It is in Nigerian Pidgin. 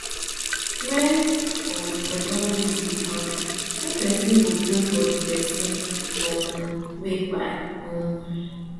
wen um dem don rich di house one pesin go pray for di person um wey kpai um